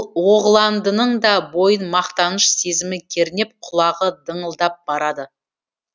оғландының да бойын мақтаныш сезімі кернеп құлағы дыңылдап барады